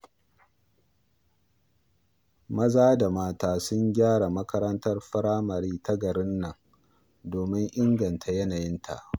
Maza da mata sun gyara makarantar firamare ta garin nan domin inganta yanayinta.